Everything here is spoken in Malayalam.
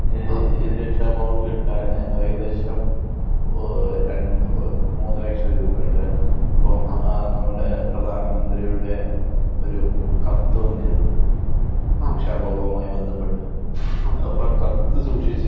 രക്ഷാബോധം കിട്ടാന് ഏകദേശം ഓ ര മൂന്നു ലക്ഷം രൂപ അട്ടെൻ അപ്പോ നമ്മുടെ പ്രധാനമന്ത്രിയുടെ ഒരു കത്ത് വന്നിരുന്നു. രക്ഷാബോധവുമായി ബന്ധപ്പെട്ട് അപ്പോ ആ കത്ത് സൂക്ഷിച്ച്